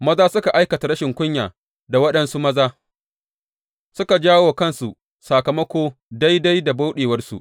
Maza suka aikata rashin kunya da waɗansu maza, suka jawo wa kansu sakamako daidai da bauɗewarsu.